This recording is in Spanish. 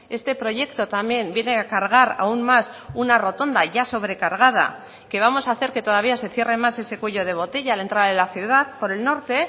este proyecto también viene a cargar aún más una rotonda ya sobrecargada que vamos a hacer que todavía se cierre más ese cuello de botella a la entrada de la ciudad por el norte